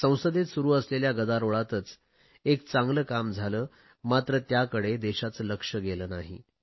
संसदेत सुरु असलेल्या गदारोळातच एक चांगले काम झाले मात्र त्याकडे देशाचे लक्ष गेले नाही